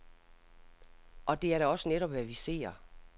Og det er da også netop, hvad vi ser.